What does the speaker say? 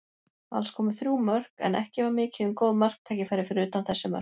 Alls komu þrjú mörk, en ekki var mikið um góð marktækifæri fyrir utan þessi mörk.